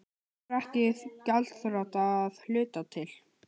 Verður ekki gjaldþrota að hluta til